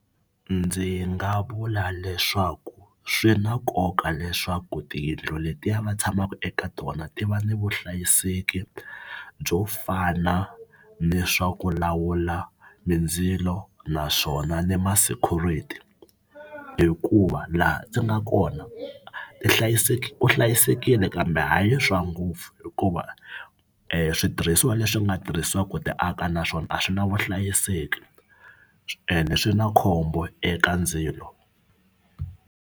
Ndzi nga vula leswaku swi na nkoka leswaku tiyindlu letiya va tshamaka eka tona ti va ni vuhlayiseki byo fana ni swa ku lawula mindzilo naswona ni ma-security hikuva laha ndzi nga kona ti ku hlayisekile kambe hayi swa ngopfu hikuva switirhisiwa leswi nga tirhisiwaka ku ti aka naswona a swi na vuhlayiseki ende swi na khombo eka ndzilo.